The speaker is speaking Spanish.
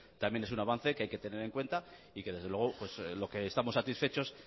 también es un avance que hay que tener en cuenta y que desde luego lo que estamos satisfechos